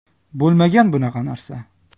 Bo‘lmagan bunaqa narsa.